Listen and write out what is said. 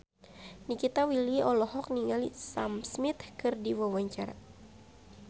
Nikita Willy olohok ningali Sam Smith keur diwawancara